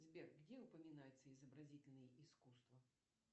сбер где упоминается изобразительное искусство